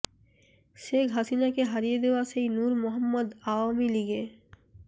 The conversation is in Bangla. শেখ হাসিনাকে হারিয়ে দেওয়া সেই নূর মোহাম্মদ আওয়ামী লীগে